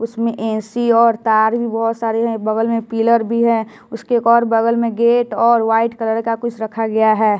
उसमें ए_सी और तार भी बहोत सारे हैं बगल में पीलर भी है उसके एक और बगल में गेट और व्हाइट कलर का कुछ रखा गया है।